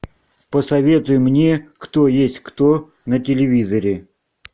посоветуй мне кто есть кто на телевизоре